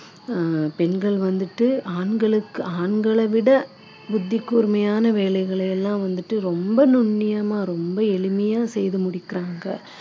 ஆஹ் பெண்கள் வந்துட்டு ஆண்களுக்கு ஆண்களை விட புத்தி கூர்மையான வேலைகளை எல்லாம் வந்துட்டு ரொம்ப நுண்ணியமா ரொம்ப எளிமையா செய்து முடிக்குறாங்க